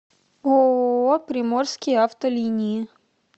ооо приморские авто линии